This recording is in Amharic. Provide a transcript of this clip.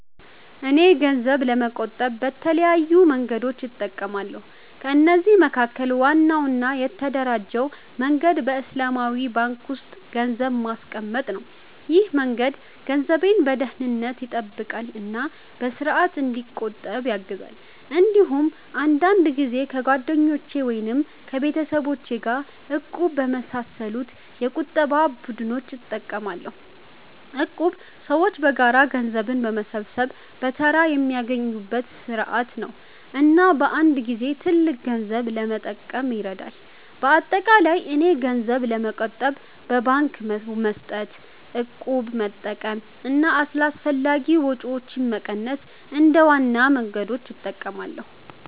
እኔ ገንዘብ ለመቆጠብ በተለያዩ መንገዶች እጠቀማለሁ። ከነዚህ መካከል ዋናው እና የተደራጀው መንገድ በእስላማዊ ባንክ ውስጥ ገንዘብ ማስቀመጥ ነው። ይህ መንገድ ገንዘቤን በደህንነት ይጠብቃል እና በስርዓት እንዲቆጠብ ያግዛል። እንዲሁም አንዳንድ ጊዜ ከጓደኞች ወይም ከቤተሰብ ጋር “እቁብ” በመሳሰሉ የቁጠባ ቡድኖች እጠቀማለሁ። እቁብ ሰዎች በጋራ ገንዘብ በመሰብሰብ በተራ የሚያገኙበት ስርዓት ነው እና በአንድ ጊዜ ትልቅ ገንዘብ ለመጠቀም ይረዳል። በአጠቃላይ እኔ ገንዘብ ለመቆጠብ በባንክ መስጠት፣ እቁብ መጠቀም እና አላስፈላጊ ወጪዎችን መቀነስ እንደ ዋና መንገዶች እጠቀማለሁ።